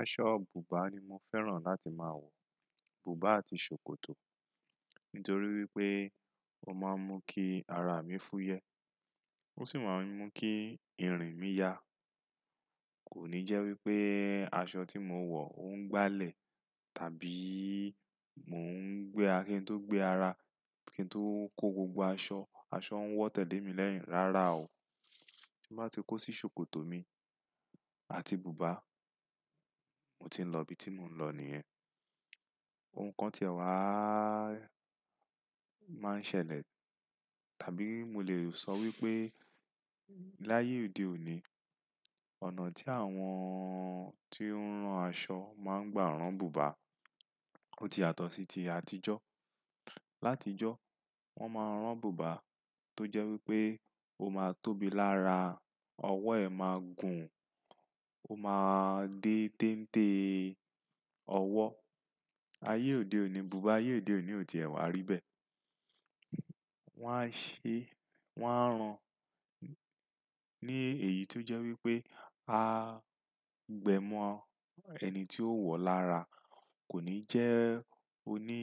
Aṣọ bùbá ni mo fẹ́ràn láti máa wọ̀, bùbá àti ṣòkòtò. Nítorí wípé ó máa ń mú kí ara mi fú yẹ, ó sì máa ń mú kí irin mi ya. Kò ní jẹ́ wípé aṣọ tí mo wọ̀ ó ń gbálẹ̀ tàbíì mo ń gbé a kí ń tó gbé ara. Kí ń tó kó gbogbo aṣọ, aṣọ ń wọ́ tẹ̀lé mi lẹ́yìn. Rárá o, bí bá ti kó sí ṣòkòtò mi àti bùbá, mo ti ń lọ ibi tí mo ń lọ nìyẹn. Ohun kan tí ẹ wáá máa ń ṣẹlẹ̀ tàbí mo lè sọ wípé láyé òde òní, ọ̀nà tí àwọn tí ó ń rán aṣọ máa ń gbá rán bùbá ó ti yàtọ̀ sí ti àtijọ́. Láti ìjọ wọ́n máa ń rán bùbá tó jẹ́ wípé ó máa tóbi lára, ọwọ́ ẹ máa gùn, ó máa dé téńté ọwọ́. Ayé òde òní bùbá, ayé òde òní ò tí ẹ wá rí bẹ́ẹ̀. Wọ́n á ṣe, wọ́n á rán ní èyí tó jẹ́ wípé a gbẹ́ mọ́ ẹni tí ó wọ̀ lára. Kò ní jẹ́ oní